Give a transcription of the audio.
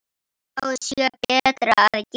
Þá sé betra að gefa.